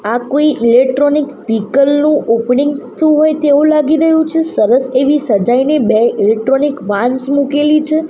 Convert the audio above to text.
આ કોઈ ઇલેક્ટ્રોનિક સિકલનુ ઓપનિંગ થતુ હોઈ તેવુ લાગી રહ્યુ છે સરસ એવી સજાઈને બે ઇલેક્ટ્રોનિક વાન્સ મૂકેલી છે.